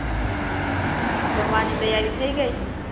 જમવાની તૈયારી થઈ ગઈ?